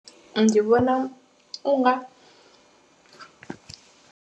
Ndi vhona u nga.